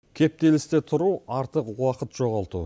кептелісте тұру артық уақыт жоғалту